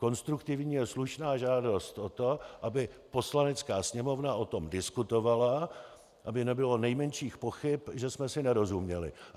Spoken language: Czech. Konstruktivní je slušná žádost o to, aby Poslanecká sněmovna o tom diskutovala, aby nebylo nejmenších pochyb, že jsem si nerozuměli.